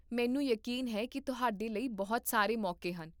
ਮੈਨੂੰ ਯਕੀਨ ਹੈ ਕੀ ਤੁਹਾਡੇ ਲਈ ਬਹੁਤ ਸਾਰੇ ਮੌਕੇ ਹਨ